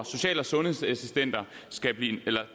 social og sundhedsassistenter